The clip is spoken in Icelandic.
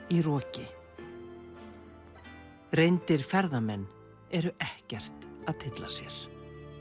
í roki reyndir ferðamenn eru ekkert að tylla sér